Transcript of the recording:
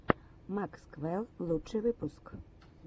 максвэлл лучший выпуск